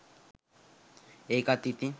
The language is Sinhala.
ඒකත් ඉතින්